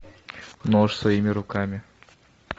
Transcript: нож своими руками